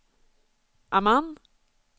Amman